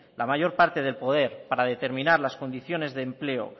la mayor parte de poder para determinar las condiciones de empleo